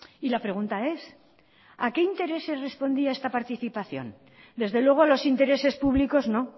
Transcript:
y la pregunta es a qué intereses respondía esta participación desde luego los intereses públicos no